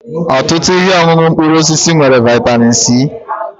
Ọtụtụ ihe ọṅụṅụ mkpụrụ osisi nwere vịatamin c.